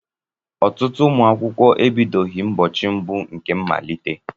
Ọtụtụ ụmụ akwụkwọ ebidobeghị ụbọchị mbụ nke mmalite.